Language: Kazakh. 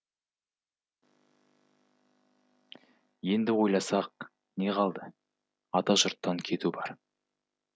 енді ойласақ не қалды ата жұрттан кету бар